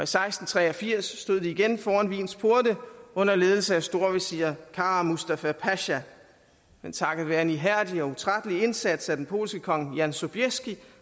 seksten tre og firs stod de igen foran wiens porte under ledelse af storvesir kara mustafa pasha men takket være en ihærdig og utrættelig indsats af den polske kong johan sobieski